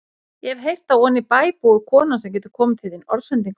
Ég hef heyrt að oní bæ búi kona sem getur komið til þín orðsendingu.